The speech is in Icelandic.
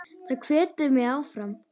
Það hvetur mig áfram.